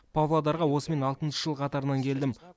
павлодарға осымен алтыншы жыл қатарынан келдім